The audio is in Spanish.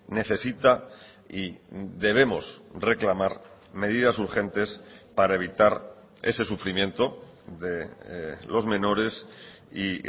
necesita y debemos reclamar medidas urgentes para evitar ese sufrimiento de los menores y